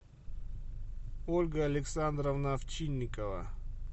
ольга александровна овчинникова